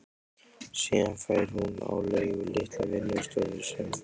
Síðan fær hún á leigu litla vinnustofu sem